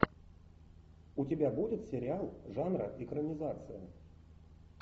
у тебя будет сериал жанра экранизация